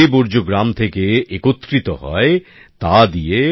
যে বর্জ্য গ্রাম থেকে একত্রিত হয় তা দিয়ে